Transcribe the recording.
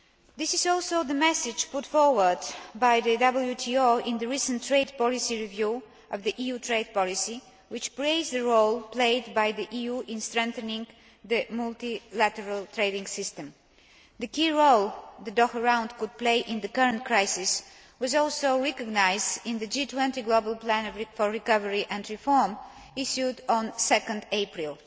This is also the message put forward by the WTO in the recent trade policy review of the EU trade policy, which praised the role played by the EU in strengthening the multilateral trading system. The key role the Doha Round could play in the current crisis was also recognised in the G20 global plan for recovery and reform issued on 2 April.